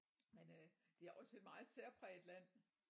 Men øh det er også et meget særpræget land